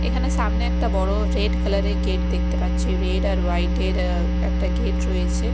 এখানে সামনে একটা বড় রেড কালার -এর গেট দেখতে পাচ্ছি রেড আর হোয়াইট -এর অ্যা একটা গেট রয়েছে।